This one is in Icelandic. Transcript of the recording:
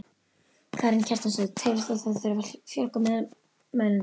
Karen Kjartansdóttir: Telur þú að það þurfi að fjölga meðmælendum?